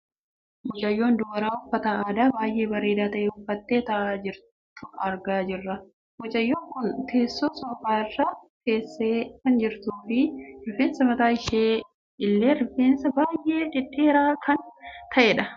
Mucayyoo dubaraa uffata aadaa baayyee bareedaa ta'e uffattee taa'aa jirtu argaa jirra. Mucayyoon kun teessoo soofaa irra teessee kan jirtuu fi rifeensi mataa ishee illee rifeensa baayyee dhedheeraa kan ta'edha.